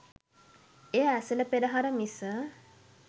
එය ඇසළ පෙරහර මිස